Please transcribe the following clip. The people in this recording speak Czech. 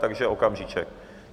Takže okamžíček.